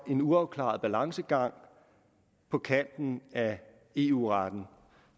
en uafklaret balancegang på kanten af eu retten